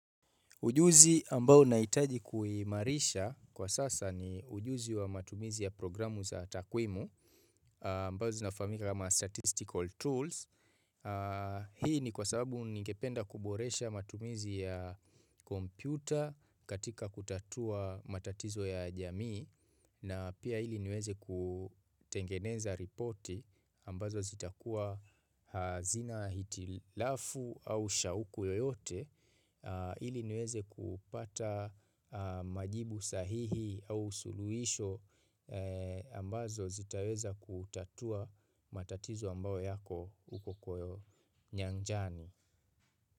Ujuzi ambao naitaji kuhimarisha kwa sasa ni ujuzi wa matumizi ya programu za takwimu ambazo nafahamika kama statistical tools Hii ni kwa sababu ningependa kuboresha matumizi ya kompyuta katika kutatua matatizo ya jamii na pia ili niweze kutengeneza reporti ambazo zitakua zina hitilafu au shauku yoyote ili niweze kupata majibu sahihi au suluisho ambazo zitaweza kutatua matatizo ambao yako huko nyanjani.